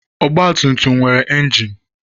Ọgbatumtum nwere injin.